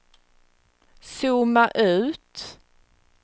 zooma ut